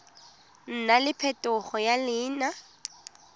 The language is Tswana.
nna le phetogo ya leina